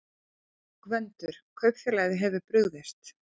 GVENDUR: Kaupfélagið hefur brugðist.